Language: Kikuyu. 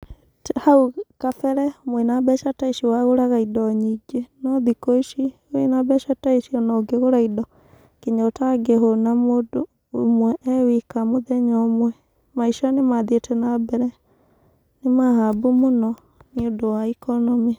Hau kabere mwĩna mbeca ta ici wagũraga indo nyingĩ no thikũ ici wĩna mbeca ta ici ona ũngĩgũra nginya ũtangĩhũna mũndũ ũmwe ee wika mũthenya ũmwe maica nĩ mathiĩte nambere nĩmahambu mũno nĩ ũndũ wa economy.